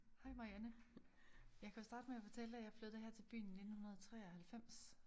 Hej Marianne